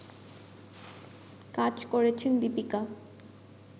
কাজ করেছেন দিপিকা